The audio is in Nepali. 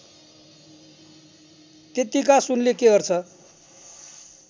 त्यत्तिका सुनले के गर्छे